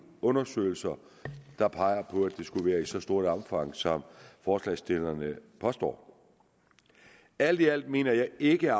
undersøgelser der peger på at det skulle være i et så stort omfang som forslagsstillerne påstår alt i alt mener jeg ikke